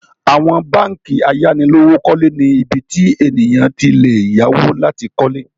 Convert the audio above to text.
Àwọn báńkì ayánilówókọ́lé ni ibi tí ènìyàn ti le yáwó láti kọ́lé